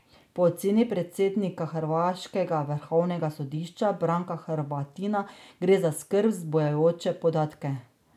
Po oceni predsednika hrvaškega vrhovnega sodišča Branka Hrvatina gre za skrb zbujajoče podatke.